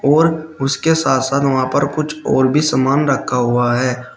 और उसके साथ साथ वहां पर कुछ और भी समान रखा हुआ है।